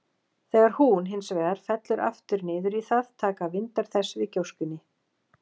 Þegar hún, hins vegar, fellur aftur niður í það, taka vindar þess við gjóskunni.